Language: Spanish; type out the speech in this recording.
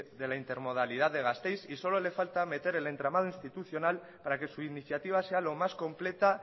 de la intermodalidad de gasteiz y solo le falta meter el entramado institucional para que su iniciativa sea lo más completa